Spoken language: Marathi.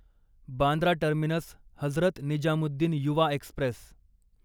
Bandra terminus Hazrat Nizamuddin Yuva Express